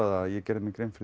að ég gerði mér grein fyrir